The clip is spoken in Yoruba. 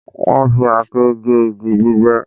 Wọ́n fi àáké gé igi gbígbẹ